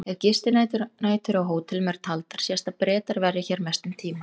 Ef gistinætur á hótelum eru taldar sést að Bretar verja hér mestum tíma.